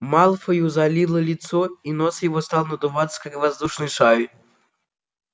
малфою залило лицо и нос его стал надуваться как воздушный шар